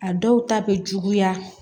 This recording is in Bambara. A dɔw ta bɛ juguya